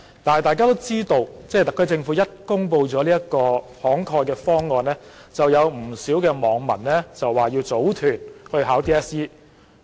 但大家都知道，當特區政府公布了這個"慷慨"的方案後，不少網民表示打算組團報考 DSE。